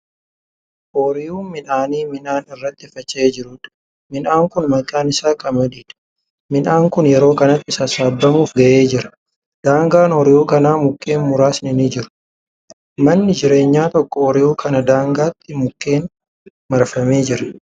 Ooyruu midhaanii midhaan irratti faca'ee jiruudha. midhaan Kuni maqaan isaa qamadiidha. midhaan Kuni yeroo kanatti sassaabbamuuf gahee jira. daangaa ooyruu kanaa mukkeen muraasni ni jiru. manni jireenyaa tokko ooyruu kana daangaatti mukkeeniin marfamee argama.